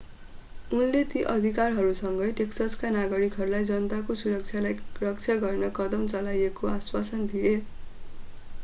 उनले ती अधिकारीहरूसँगै टेक्ससका नागरिकहरूलाई जनताको सुरक्षालाई रक्षा गर्न कदम चालिएको आश्वासन दिए